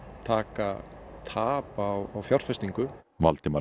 taka tap á fjárfestingu Valdimar